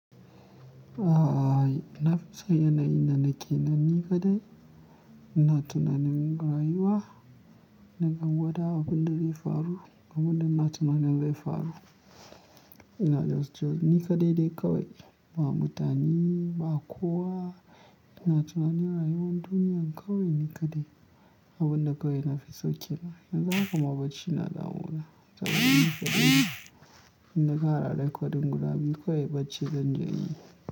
A'a, nafison yana yi danake nan ni kaɗai. Ina tunanin rayuwa, nagan wada abin da zai faru, abin da na tuna nin zai faru. Ina jos jos ni kaɗai dai kawai, ba mutane ba kowa. Ina tunanin rayuwar duniya kawai ni kadai. Abin da kawai nafiso kenan. Yanzu haka ma bacci na damu na da saboda. Ni kaɗaine ina kara recording guda biyu kawai bacci zanje inyi.